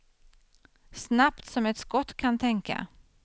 Snabbt som ett skott kan tänka.